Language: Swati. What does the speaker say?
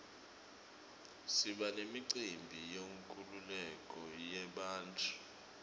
siba nemicimbi yenkululeko yebantfu